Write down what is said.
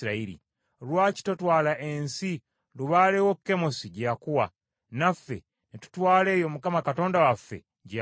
Lwaki totwala ensi lubaale wo Kemosi gye yakuwa, naffe ne tutwala eyo Mukama Katonda waffe gye yatuwa?